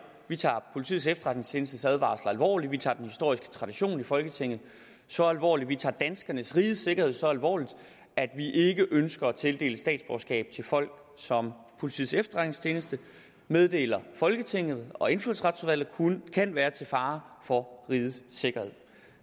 vi tager politiets efterretningstjenestes advarsler alvorligt vi tager den historiske tradition i folketinget så alvorligt vi tager danskernes rigets sikkerhed så alvorligt at vi ikke ønsker at tildele statsborgerskab til folk som politiets efterretningstjeneste meddeler folketinget og indfødsretsudvalget kan være til fare for rigets sikkerhed